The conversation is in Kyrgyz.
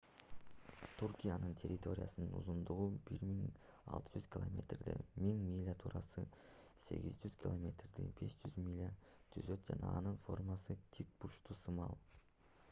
туркиянын территориясынын узундугу 1600 километрди 1000 миля туурасы 800 километрди 500 миля түзөт жана анын формасы тик бурчтук сымал